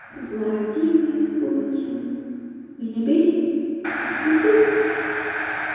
владимир путин меня бесит ту ту ту